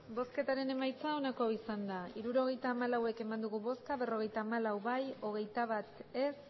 hirurogeita hamalau eman dugu bozka berrogeita hamalau bai hogeita bat ez